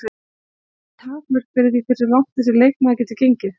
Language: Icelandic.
Eru engin takmörk fyrir því hversu langt þessi leikmaður getur gengið?